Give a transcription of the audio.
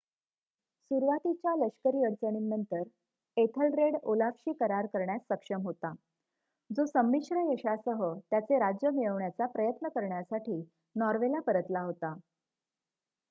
सुरुवातीच्या लष्करी अडचणींनंतर एथलरेड ओलाफशी करार करण्यास सक्षम होता जो संमिश्र यशासह त्याचे राज्य मिळवण्याचा प्रयत्न करण्यासाठी नॉर्वेला परतला होता